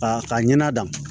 K'a ka ɲana da